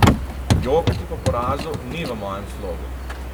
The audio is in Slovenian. Jokati po porazu ni v mojem slogu.